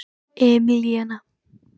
Emilíana